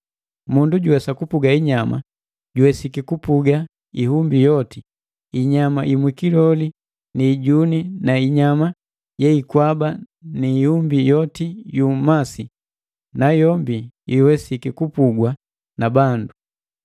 Mundu juwesa kupuga inyama, juwesiki kupuga iumbi yoti, inyama imwikioli ni ijuni na inyama yeikwaba na iumbi yoti yu mmasi, nayombi iwesiki kupugwa na bandu.